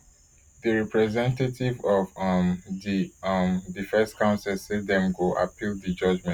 di representative of um di um defence counsel say dem go appeal di judgement